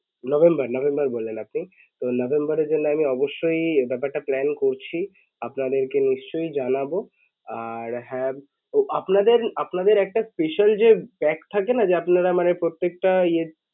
November November বললেন আপনি তো নভেম্বরের জন্য আমি অবশ্যই ব্যাপার টা plan করছি আপনাদেরকে নিশ্চয়ই জানাবো আর হ্যাঁ তো আপনাদের আপনাদের একটা special যে pack থাকে না যে আপনারা মানে প্রত্যেকটা